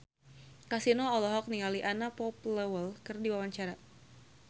Kasino olohok ningali Anna Popplewell keur diwawancara